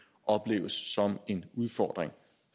opleves som en udfordring